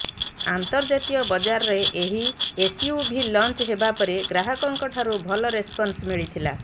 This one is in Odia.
ଅନ୍ତର୍ଜାତୀୟ ବଜାରରେ ଏହି ଏସୟୁଭି ଲଞ୍ଚ ହେବାପରେ ଗ୍ରାହକଙ୍କଠାରୁ ଭଲ ରେସପନ୍ସ ମିଳିଥିଲା